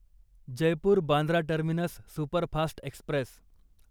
Jaipur Bandra terminus superfast Express